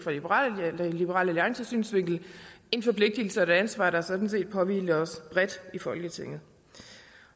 fra liberal alliances synsvinkel en forpligtelse og et ansvar der sådan set påhviler os bredt i folketinget